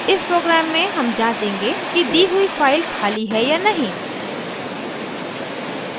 इस program में हम जाँचेंगे कि दी हुई फाइल खाली है या नहीं